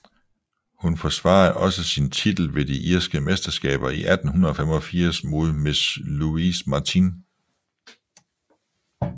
Hun forsvarede også sin titel ved de irske mesterskaber i 1885 mod Miss Louise Martin